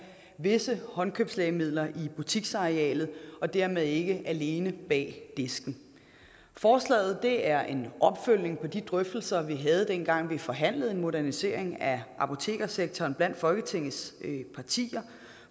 visse håndkøbslægemidler i butiksarealet og dermed ikke alene bag disken forslaget er en opfølgning på de drøftelser vi havde dengang vi forhandlede om en modernisering af apotekersektoren blandt folketingets partier